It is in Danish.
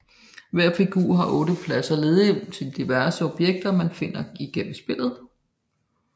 Hver figur har 8 pladser ledige til diverse objekter man finder igennem spillet